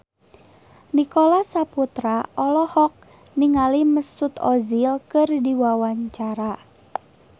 Nicholas Saputra olohok ningali Mesut Ozil keur diwawancara